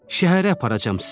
Şəhərə aparacam sizi.